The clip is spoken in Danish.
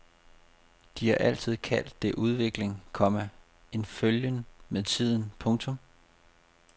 De har altid kaldt det udvikling, komma en følgen med tiden. punktum